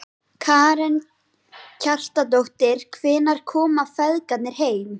Karen Kjartansdóttir: Hvenær koma feðgarnir heim?